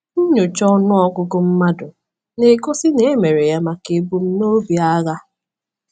Nnyocha ọnụ ọgụgụ mmadụ na-egosi na e mere ya maka ebumnobi agha.